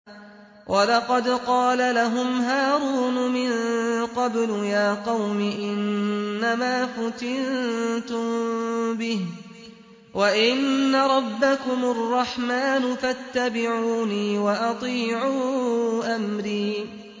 وَلَقَدْ قَالَ لَهُمْ هَارُونُ مِن قَبْلُ يَا قَوْمِ إِنَّمَا فُتِنتُم بِهِ ۖ وَإِنَّ رَبَّكُمُ الرَّحْمَٰنُ فَاتَّبِعُونِي وَأَطِيعُوا أَمْرِي